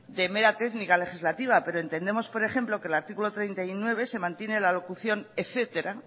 de mera técnica legislativa pero entendemos por ejemplo que en el artículo treinta y nueve se mantiene la locución etcétera